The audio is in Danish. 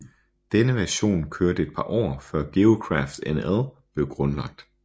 Denne version kørte et par år før GeoCraftNL blev grundlagt